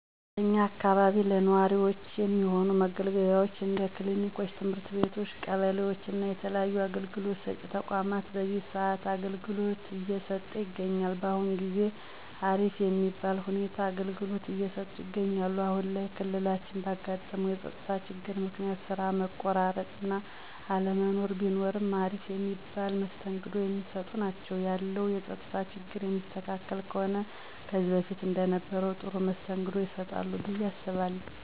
በእኛ አካባቢ ለነዋሪወች የሚሆኑ መገልገያወች እንደ ክሊኒኮች፣ ትምህርት ቤቶች ቀበሌወች እና የተለያዩ አገልግሎት ሰጪ ተቋማት በዚህ ሰአት አገልግሎት እየሰጠ ይገኛል። በአሁን ጊዜ አሪፍ የሚባል ሁኔታ አገልግሎት እየሰጡ ይገኛሉ። አሁን ላይ ክልላችን ባጋጠመው የፀጥታ ችግር ምክንያት ስራ መቆራረጥ እና አለመኖር ቢኖርም አሪፍ የሚባል መስተንግዶ የሚሰጡ ናቸው። ያለው የፀጥታ ችግር የሚስተካከል ከሆነ ከዚህ በፊት እንደነበረው ጥሩ መስተንግዶ ይሰጣሉ ብየ አስባለሁ።